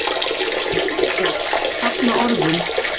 GUÐBJÖRG: Safna orðum!